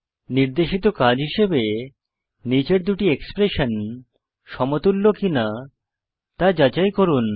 নির্দেশিত কাজ হিসাবে নীচের দুটি এক্সপ্রেশন সমতুল্য কিনা তা যাচাই করুন